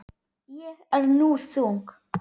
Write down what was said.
Ég er nú þung.